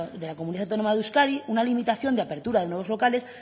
de la comunidad autónoma de euskadi una limitación de apertura de nuevos locales